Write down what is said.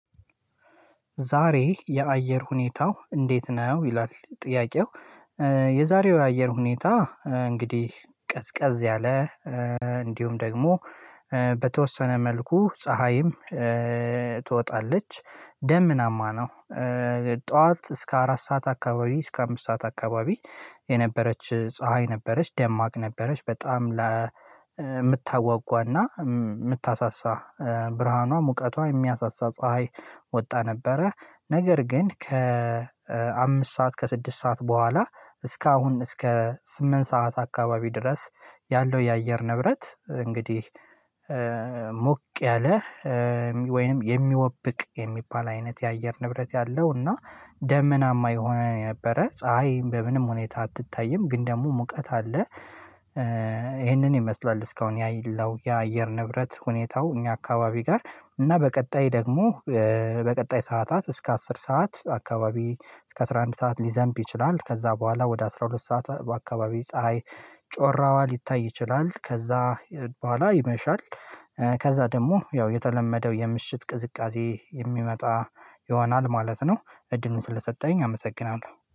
ዛሬ የአየር ሁኔታው እንዴት ነው? ይላል ጥያቄው? የዛሬው የአየር ሁኔታ እንግዲህ ቀዝቀዝ ያለ እንዲሁም ደግሞ በተወሰነ መልኩ ፀሀይም ትወጣለች ደመናማ ነው። ጠዋት እስከ አራት ሰዓት አካባቢ እስከ አምስት ሰዓት አካባቢ የነበረች ፀሀይ ነበረች ደማቅ ነበረች በጣም ለምታጓጓና ምታሳሳ ብርሃኗ ሙቀቷ የሚያሳሳ ፀሀይ ወጣ ነበረ። ነገር ግን ከአምስት ሰዓት ከስድስት ሰዓት በኋላ እስከ አሁን እስከ ስምንት ሰዓት አካባቢ ድረስ ያለው የአየር ንብረት እንግዲህ ሞቅ ያለ ወይንም የሚወብቅ የሚባል አይነት የአየር ንብረት ያለው እና ደመናማ የሆነ የነበረ ፀሀይ በምንም ሁኔታ አትታይም ግን ደግሞ ሙቀት አለ። ይሄንን ይመስላል። እስካሁን ያየለው የአየር ንብረት ሁኔታው እኛ አካባቢ ጋር እና በቀጣይ ደግሞ በቀጣይ ሰዓታት እስከ አስር ሰዓት አካባቢ እስከ አስራ አንድ ሰዓት ሊዘንብ ይችላል። ከዛ በኋላ ወደ አስራ ሁለት ሰዓት በአካባቢ ፀሀይ ጮራዋ ሊታይ ይችላል። ከዛ በኋላ ይመሻል። ከዛ ደግሞ ያው የተለመደው የምሽት ቅዝቃዜ የሚመጣ ይሆናል ማለት ነው። እድሉን ስለሰጠኸኝ አመሰግናለሁ